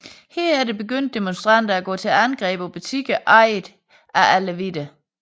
Herefter begyndte demonstranter at gå til angreb på butikker ejet af alevitter